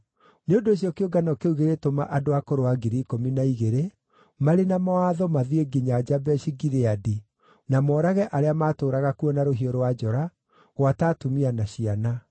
Nĩ ũndũ ũcio kĩũngano kĩu gĩgĩtũma andũ a kũrũa 12,000 marĩ na mawatho mathiĩ nginya Jabeshi-Gileadi na moorage arĩa maatũũraga kuo na rũhiũ rwa njora, gwata atumia na ciana.